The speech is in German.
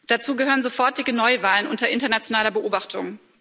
Dazu gehören sofortige Neuwahlen unter internationaler Beobachtung.